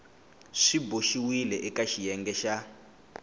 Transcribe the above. swi boxiweke eka xiyenge xa